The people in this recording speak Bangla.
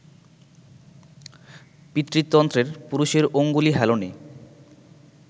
পিতৃতন্ত্রের, পুরুষের অঙ্গুলি হেলনে